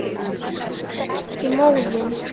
Missa ekki móðinn.